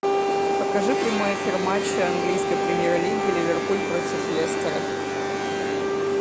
покажи прямой эфир матча английской премьер лиги ливерпуль против лестера